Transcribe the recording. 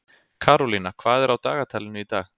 Karólína, hvað er á dagatalinu í dag?